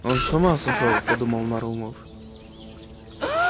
он с ума сошёл подумал нарумов